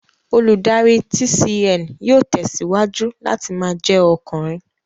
Olùdarí TCN yóò tẹ̀síwájú láti ma jẹ́ ọkùnrin